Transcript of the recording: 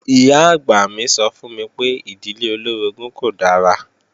Ìyá-àgbà mi sọ fún mi pé ìdílé olóorogún kò dára